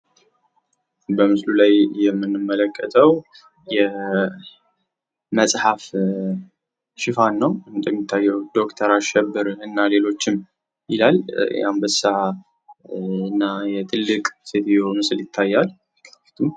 በምስሉ ላይ የምንመለከተው የመፅሐፍ ሽፋን ነው ።እንደሚታየው ዶክተር አሸብር እና ሌሎችም ይላል። የአንበሳ እና የትልቅ ሴትዮ ምስል ይታያል።